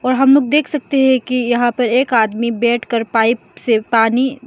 और हम लोग देख सकते हैं कि यहां पर एक आदमी बैठकर पाइप से पानी --